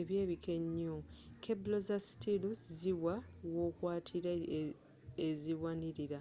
eby'ebiko enyo keble za stilu ziwa wokwatira eziwanilira